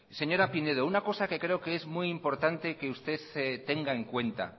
señora pinedo una cosa que creo que es muy importante que usted tenga en cuenta